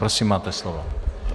Prosím, máte slovo.